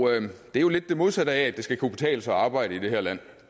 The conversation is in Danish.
det er jo lidt det modsatte af at det skal kunne betale sig at arbejde i det her land